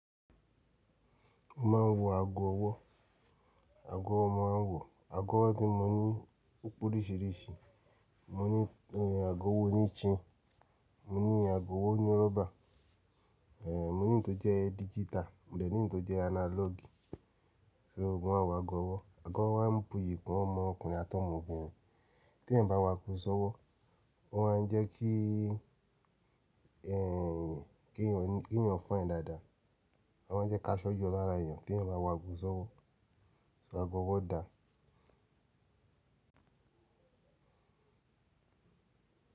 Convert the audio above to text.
Mo máa ń wọ ago ọwọ́, ago owo ni mo maa n wo, ago ọwọ́ tí mo ní pe oríṣìíríṣìí, mo ní ago ọwọ́ oní chain, mo ní ago ọwọ́ oní rọ́bà, eh mo ní ìto jẹ́ digital, mo dẹ̀ ní ìto jẹ́ analog. So ma n wọ ago ọwọ́, ago ọwọ́ a ń buyì kun ọmọ ọkùnrin àtọ́mọbìnrin tí eeyan bá wo ago ṣọ́wọ́, ó máa ń jẹ́ kí ẹyin, kí èèyàn fine dáadáa, a máa jẹ́ káso yo lára èèyàn tí ẹ̀ bá ń wo ago ṣọ́wọ́, so ago ọwọ́ dà?